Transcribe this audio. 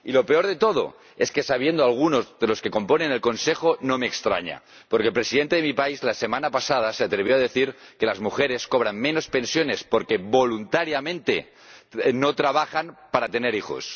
Y lo peor de todo es que, conociendo a algunos de los que componen el Consejo, no me extraña, porque el Presidente de mi país la semana pasada se atrevió a decir que las mujeres cobran menos pensiones porque, voluntariamente, no trabajan para tener hijos.